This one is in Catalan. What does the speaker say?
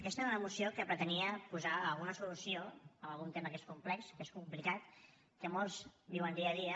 aquesta era una moció que pretenia posar alguna solució a un tema que és complex que és complicat que molts viuen dia a dia